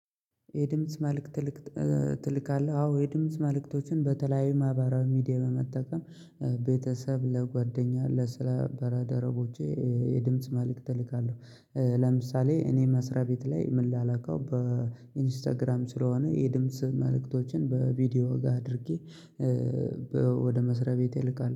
የድምጽ መልእክት ትልክ ትልካለህ። አዎ የድምጽ መልእክቶችን በተለያዩ ማህበራዊ ሚዲያ በመጠቀም ቤተሰብ ለጓደኛ ለስራባል ደረቦቼ የድምጽ መልእክት እልካለሁ። ለምሳሌ እኔ መስሪያ ቤት ላይ ም ላላከው በኢንስታግራም ስለሆነ የድምጽ መልእክቶችን በቪዲዮ ጋር አድርጌ ወደ መስሪያ ቤቴ እልካለሁ